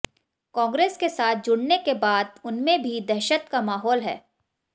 कांग्रेस के साथ जुड़ने के बाद उनमें भी दहशत का माहौल है